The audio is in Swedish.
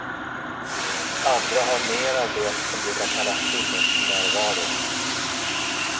Andra har mer av det som brukar kallas sinnesnärvaro.